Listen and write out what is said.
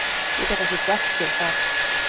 Ég gat ekki gert þér það.